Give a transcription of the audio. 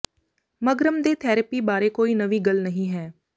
ਮਗਰਮ ਦੇ ਥੈਰੇਪੀ ਬਾਰੇ ਕੋਈ ਨਵੀਂ ਗੱਲ ਨਹੀਂ ਹੈ